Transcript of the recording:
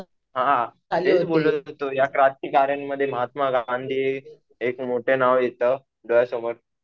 हा हेच बोललेलो. तर ह्या क्रांतिकार्यांमध्ये महात्मा गांधी हे एक मोठं नाव येतं डोळ्यासमोर.